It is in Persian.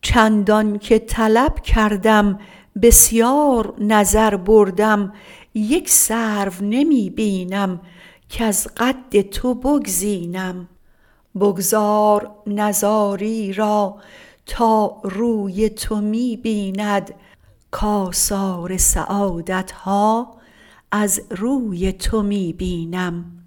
چندان که طلب کردم بسیار نظر بردم یک سرو نمی بینم کز قد تو بگزینم بگذار نزاری را تا روی تو می بیند کاثار سعادت ها از روی تو می بینم